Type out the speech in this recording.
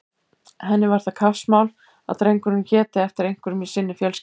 Henni var það kappsmál að drengurinn héti eftir einhverjum í sinni fjölskyldu.